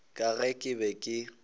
ka ge ke be ke